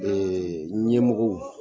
ƐƐƐ ɲɛmɔgɔw